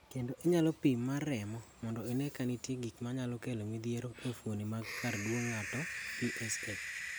Bende inyalo pim mar remo mondo ine ka nitie gik manyalo kelo midhiero e fuoni mag karduong ng'ato (PSA).